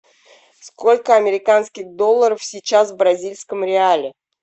сколько американских долларов сейчас в бразильском реале